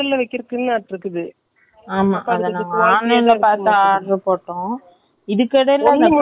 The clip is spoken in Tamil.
ஒன்னு முந்நூத்தி எண்பது ரூபாய், ரெண்டுன்னா வந்துட்டு sorry அறுநூறு ரூபாய்.ஆனால் offer ல முந்நூத்தி எண்பது ரூபாய்க்கு ரெண்டுதான் வாங்கி இருந்தாரு .